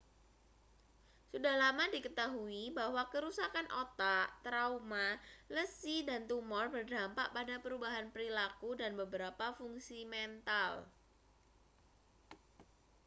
sudah lama diketahui bahwa kerusakan otak trauma lesi dan tumor berdampak pada perubahan perilaku dan beberapa fungsi mental